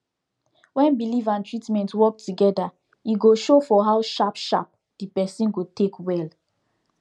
when belief and treatment work together e go show for how sharp sharp the person go take well